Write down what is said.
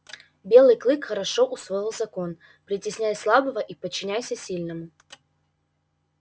белый клык хорошо усвоил закон притесняй слабого и подчиняйся сильному